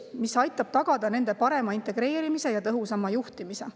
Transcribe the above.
See aitab tagada nende parema integreerimise ja tõhusama juhtimise.